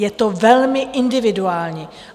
Je to velmi individuální.